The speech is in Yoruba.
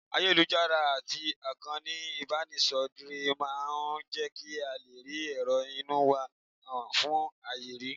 Ayélujára àti ìkànnì ìbánidọ́rẹ̀ẹ́ máa máa ń jẹ́ kí a lè fi èrò inú wa han fún ayé rí